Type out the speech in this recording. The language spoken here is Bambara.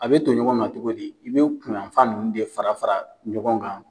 A be ton ɲɔgɔn kan cogo di, i be kunyan fan nunnu de fara fara ɲɔgɔn kan.